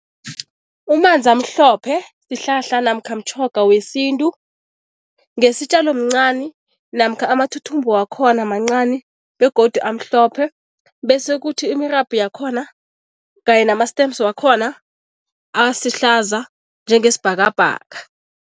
Umanzamhlophe sihlahla namkha mtjhoga wesintu. Ngesitjalo mncani namkha amathuthumbo wakhona mancani begodu amhlophe bese kuthi imirabhu yakhona kanye nama-stems wakhona asihlaza njengesibhakabhaka.